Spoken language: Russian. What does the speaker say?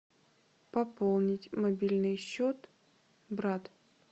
пополнить мобильный счет брат